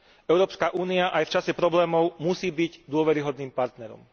Európska únia aj v čase problémov musí byť dôveryhodným partnerom.